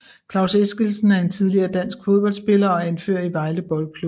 Klaus Eskildsen er en tidligere dansk fodboldspiller og anfører i Vejle Boldklub